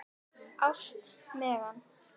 Ást, Megan.